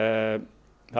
það